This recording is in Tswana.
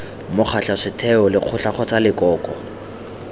mokgatlho setheo lekgotla kgotsa lekoko